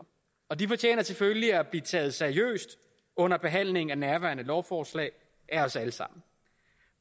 og de fortjener selvfølgelig at blive taget seriøst under behandlingen af nærværende lovforslag af os alle sammen